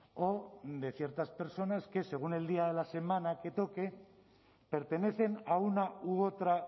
o de ciertas personas que según el día de la semana que toque pertenecen a una u otra